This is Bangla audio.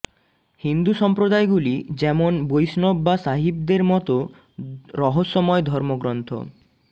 হিন্দু সম্প্রদায়গুলি যেমন বৈষ্ণব বা সাঈভদের মত রহস্যময় ধর্মগ্রন্থ